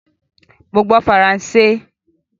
Mo gbọ́ Faransé